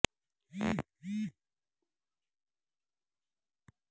انگلیوں براہ راست اور کوہنیوں براہ راست اہتمام کر رہے ہیں